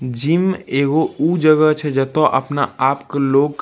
gym एगो उ जगह छै जेतो अपना आप के लोग --